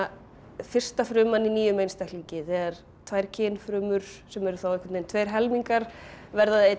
fyrsta fruman í nýjum einstaklingi þegar tvær kynfrumur sem eru þá tveir helmingar verða að einni